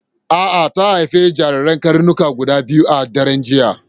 A'a ta haifi jirajiran karnuka guda biyu a daren jiya.